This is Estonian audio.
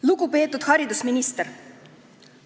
Lugupeetud haridusminister!